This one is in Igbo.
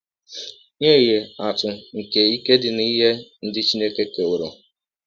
Nye ihe atụ nke ike dị n’ihe ndị Chineke kewọrọ .:-